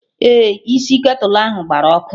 Ee, isi ketulu ahụ gbara ọkụ